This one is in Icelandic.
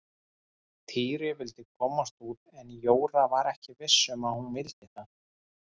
Týri vildi komast út en Jóra var ekki viss um að hún vildi það.